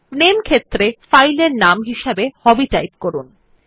নামে ক্ষেত্রে ফাইল এর নাম হিসাবে হবি টাইপ করুন